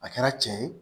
A kɛra cɛ ye